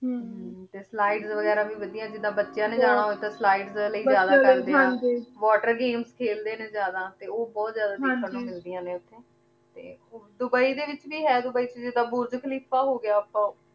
ਹਮਮ ਤੇ slides ਵੇਗਿਰਾ ਵੀ ਵਾਦਿਯ ਜਿਦਾਂ ਬਚੀਆਂ ਨੇ ਜਾਣਾ ਹੋਆਯ ਤਾਂ slides ਲੈ ਜਿਆਦਾ ਬਚੀਆਂ ਨੇ ਹਾਂਜੀ water games ਖੇਲ੍ਡੀ ਨੇ ਜਿਆਦਾ ਤੇ ਊ ਬੋਹਤ ਜਿਆਦਾ ਦੇਖਣ ਨੂ ਮਿਲ੍ਦਿਯਾਂ ਨੇ ਓਥੇ ਹਾਂਜੀ ਤੇ ਹੋਰ ਦੁਬਈ ਡੀ ਵਿਚ ਵੀ ਹੈ ਦੁਬਈ ਚ ਜਿਦਾਂ ਬੁਰਜ ਖਲੀਫਾ ਹੋ ਗਯਾ ਆਪਾਂ